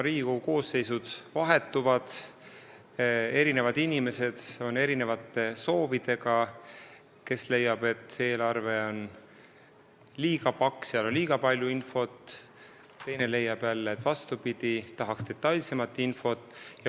Riigikogu koosseisud vahetuvad, inimestel on erinevad soovid, keegi leiab, et eelarve on liiga paks ja seal on liiga palju infot, teine leiab jälle vastupidi, et tahaks detailsemat infot.